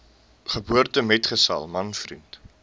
geboortemetgesel man vriend